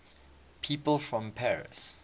people from paris